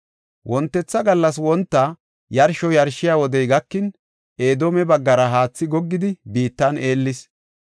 Wontetha gallas wonta yarsho yarshiya wodey gakin, Edoome baggara haathi goggidi, biittan eellis.